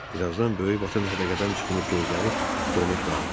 Bir azdan böyük vaton hədəqədən çıxmış gözləri donub qaldı.